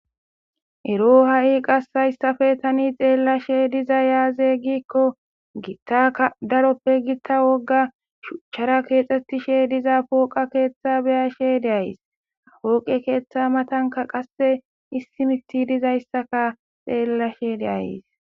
ero ha7i qassayssafe tani xeellashe diza yaaze giikko giittaka daroppe gitta wogga shuchchara keexxettishe diza pooqa keeththa beyashe deays apooqe keeththa matanka qasse issimitti dizayssaka xeellashe deays